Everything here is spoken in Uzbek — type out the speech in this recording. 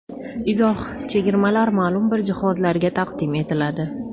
Izoh: Chegirmalar ma’lum bir jihozlarga taqdim etiladi.